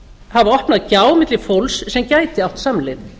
hafa opnað gjá milli fólks sem gæti átt samleið